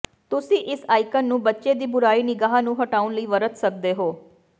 ਤੁਸੀਂ ਇਸ ਆਈਕਨ ਨੂੰ ਬੱਚੇ ਦੀ ਬੁਰੀ ਨਿਗਾਹ ਨੂੰ ਹਟਾਉਣ ਲਈ ਵਰਤ ਸਕਦੇ ਹੋ